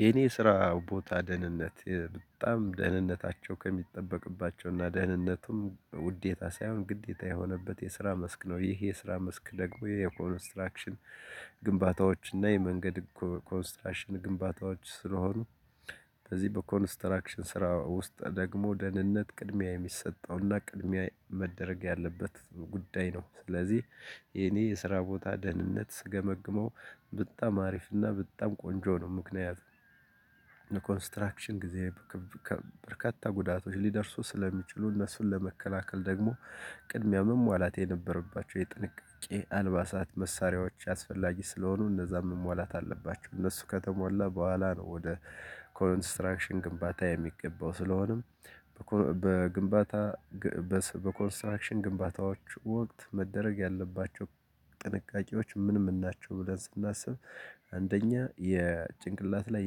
የኔ ስራ ቦታ ደህንነት በጣም ደህንነታቸው ከሚጠበቅባቸው እና ደህንነቱም ውዴታ ሳይሆን ግዴታ የሆነበት የስራ መስክ ነው። ይሄ የስራ መስክ ደግሞ የኮንስትራክሽን ግንባታዎች እና የመንገድ ኮንስትራክሽን ግንባታዎች ስለሆኑ እንደዚህ በኮንስትራክሽን ስራ ውስጥ ደግሞ ደህንነት ቅድሚያ የሚሰጠውና ቅድሚያ መደረግ ያለበት ጉዳይ ነው። ስለዚህ የኔ የስራ ቦታ ደህንነት ስገመግመው በጣም አሪፍ እና በጣም ቆንጆ ነው። ምክንያቱም ኮንስትራክሽን ጊዜ በርካታ ጉዳቶች ሊደርሱ ስለሚችሉ እነሱን ለመከላከል ደግሞ ቅድሚያ መሟላት የነበረባቸው የጥንቃቄ አልባሳት መሳሪያዎች አስፈላጊ ስለሆኑ እነዛም መሟላት አለባችሁ እነሱ ከተሟላ በኋላ ነው። ወደ ኮንስትራክሽን ግንባታ የሚገባው ስለሆነም በግንባታ በኮንስትራክሽን ግንባታዎች ወቅት መደረግ ያለባቸው ጥንቃቄዎች ምንም እናቸው? ብለን ስናስብ አንደኛ የጭንቅላት ላይ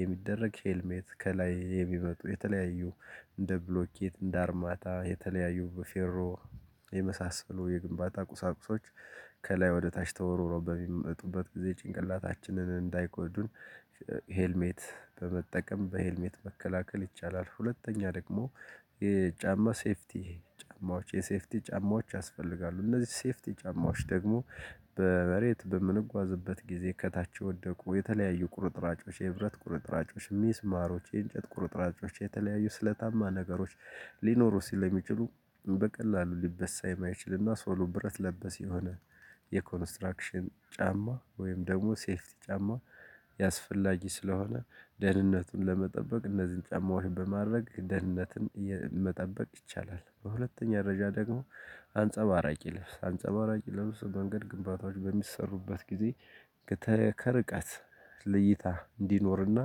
የሚደረግ ሄልሜት ከላይ የሚመጡ የተለያዩ እንደ ብሎኬት እንደ አርማታ የተለያዩ በፌሮ የመሳሰሉ የግንባታ ቁሳቁሶች ከላይ ወደ ታች ተወርውረው በሚመጡበት ጊዜ ጭንቅላታችንን እንዳይጎዱን ሄልሜት በመጠቀም በሄልሜት መከላከል ይቻላል። ሁለተኛ ደግሞ የጫማ ሴፍቲ ጫማዎች የሴፍቲ ጫማዎች ያስፈልጋሉ። እነዚህ ሴፍቲ ጫማዎች ደግሞ በመሬት በምንጓዝበት ጊዜ ከታች የወደቁ የተለያዩ ቁርጥራጮች የብረት ቁርጥራጮች ሚስማሮች የእንጨት ቁርጥራጮች የተለያዩ ስለታማ ነገሮች ሊኖሩ ስለሚችሉ በቀላሉ ሊበሳ የማይችልና ሶሎ ብረት ለበስ የሆነ የኮንስትራክሽን ጫማ ወይም ደግሞ ሴፍቲ ጫማ አስፈላጊ ስለሆነ ደህንነቱን ለመጠበቅ እነዚህን ጫማዎችን በማድረግ ደህንነትን መጠበቅ ይቻላል። በሁለተኛ ደረዣ ደግሞ አንጸባራቂ ለብስ አንጸባራቂ ለብስ መንገድ ግንባታዎች በሚሰሩበት ጊዜ ከርቀት ለይታ እንዲኖርና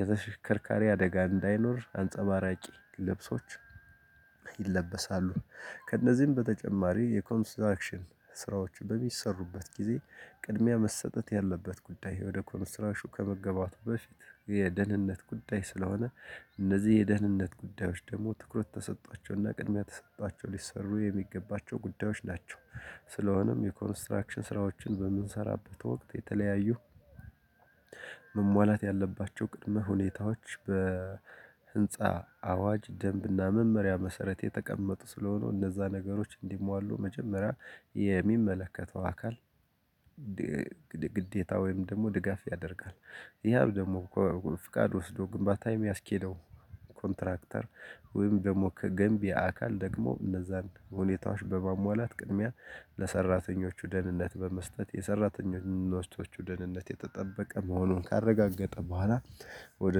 የተሽከርካሪ አደጋ እንዳይኖር አንጸባራቂ ልብሶች ይለበሳሉ። ከእነዚህም በተጨማሪ የኮንስትራክሽን ስራዎች በሚሰሩበት ጊዜ ቅድሚያ መሰጠት ያለበት ጉዳይ ወደ ኮንስትራክሽን ከመገባቱ በፊት የደህንነት ጉዳይ ስለሆነ እነዚህ የደህንነት ጉዳዮች ደግሞ ትኩረት ተሰቷቸውና ቅድሚያ ተሰቷቸው ሊሰሩ የሚገባቸው ጉዳዮች ናቸው። ስለሆነም የኮንስትራክሽን ስራዎችን በምንሰራበት ወቅት የተለያዩ መሟላት ያለባቸው ቅድመ ሁኔታዎች በህንፃ አዋጅ ደንብና መመሪያ መሰረት የተቀመጡ ስለሆኑ እነዛ ነገሮች እንዲሟሉ መጀመሪያ የሚመለከተው አካል ግዴታ ወይም ደግሞ ድጋፍ ያደርጋል። ይሄ አሁን ደግሞ ከፍቃድ ወስዶ ግንባታ የሚያስኬደው ኮንትራክተር ወይም ደግሞ ከገንቢ አካል ደግሞ እነዛን ሁኔታዎች በማሟላት ቅድሚያ ለሰራተኞቹ ደህንነት በመስጠት የሰራተኞቹ ደህንነት የተጠበቀ መሆኑን ካረጋገጠ በኋላ ወደ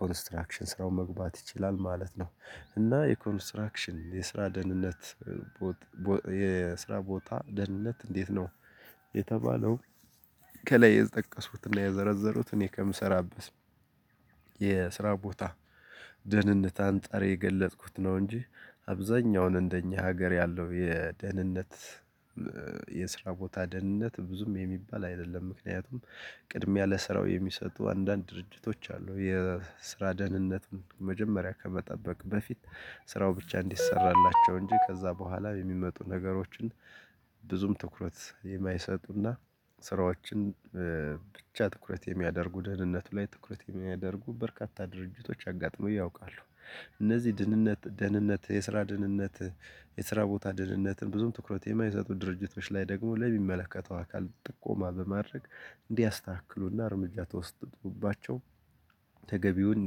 ኮንስትራክሽን ስራው መግባት ይችላል ማለት ነው። እና የኮንስትራክሽን የስራ ደህንነት የስራ ቦታ ደህንነት እንዴት ነው? የተባለው ከላይ የጠቀሱትና የዘረዘሩት እኔ ከምሰራበት የስራ ቦታ ደህንነት አንጣር የገለጥኩት ነው። እንጂ አብዛኛውን እንደኛ ሀገር ያለው የደህንነት የስራ ቦታ ደህንነት ብዙም የሚባል አይደለም። ምክንያቱም ቅድም ያለ ስራው የሚሰጡ አንዳንድ ድርጅቶች አሉ የስራ ደህንነትን መጀመሪያ ከመጠበቅ በፊት ስራው ብቻ እንዲሰራላቸው እንጂ ከዛ በኋላ የሚመጡ ነገሮችን ብዙም ትኩረት የማይሰጡና ስራዎችን ብቻ ትኩረት የሚያደርጉ ደህንነቱ ላይ ትኩረት የማያደርጉ በርካታ ድርጅቶች አጋጥሞኝ ያውቃሉ። እነዚህ ድህንነት ደህንነት የስራ ድህንነት የስራ ቦታ ድህንነትን ብዙም ትኩረት የማይሰጡ ድርጅቶች ላይ ደግሞ ለሚመለከተው አካል ጥቆማ በማድረግ እንዲያስተካክሉና እርምጃ ተወስዶባቸው። ተገቢውን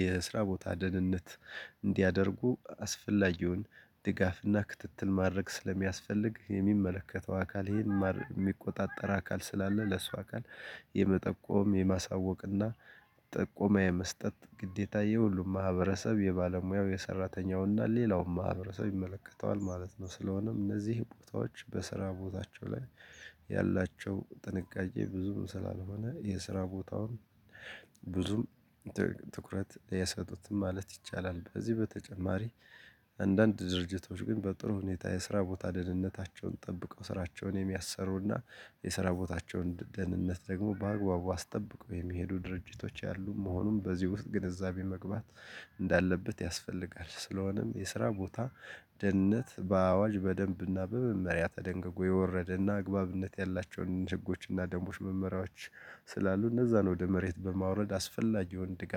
የስራ ቦታ ደህንነት እንዲያደርጉ አስፈላጊውን ድጋፍና ክትትል ማድረግ ስለሚያስፈልግ የሚመለከተው አካል ይሄን የሚቆጣጠር አካል ስላለ ለሱ አካል የመጠቆም የማሳወቅና ጥቆማ የመስጠት ግዴታ የሁሉም ማህበረሰብ የባለሙያው የሰራተኛውና ሌላውም ማህበረሰብ ይመለከተዋል ማለት ነው። ስለሆነም እነዚህ ቦታዎች በስራ ቦታቸው ላይ ያላቸው ጥንቃቄ ብዙም ስላልሆነ የስራ ቦታውን ብዙም ትኩረት አይሰጡትም ማለት ይቻላል። ከዚህ በተጨማሪ አንዳንድ ድርጅቶች ግን በጥሩ ሁኔታ የስራ ቦታ ደህንነታቸውን ጠብቀው ስራቸውን የሚያሰሩና የስራ ቦታቸውን ደህንነት ደግሞ በአግባቡ አስጠብቆ የሚሄዱ ድርጅቶች ያሉ መሆኑን በዚህ ውስጥ ግንዛቤ መግባት እንዳለበት ያስፈልጋል። ስለሆነም የስራ ቦታ ደህንነት በአዋጅ በደንብና በመመሪያ ተደንግጎ የወረደና አግባብነት ያላቸውን ህጎች እና ደንቦች መመሪያዎች ስላሉ እነዛን ወደ መሬት በማውረድ አስፈላጊውን ድጋፍ